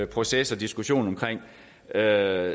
proces og diskussion om jeg